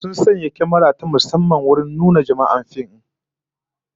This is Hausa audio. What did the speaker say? Sun sanya kyamara ta musamman wajen nunnunka jama'ar fim din